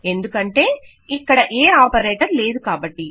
ఎందుకంటే ఇక్కడ ఏ ఆపరేటర్ లేదుకాబట్టి